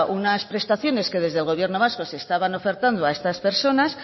unas prestaciones que desde el gobierno vasco se estaban ofertando a estas personas